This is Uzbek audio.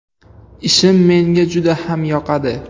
Ishim menga juda ham yoqadi.